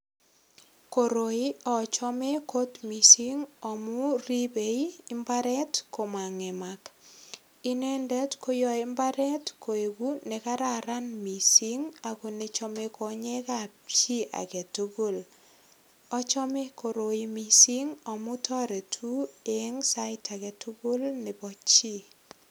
Koroi ochome kot misink amun ribe imbaret komangemak inendet koyoe imbaret koik ne kararan misink ako nechome konyekab chi agetugul ochome koroi misink amun toreti en sait agetugul nebo chi.